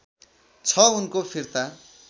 छ उनको फिर्ता